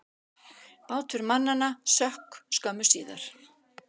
Bátur mannanna sökk skömmu síðar.